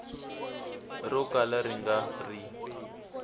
ro kala ri nga ri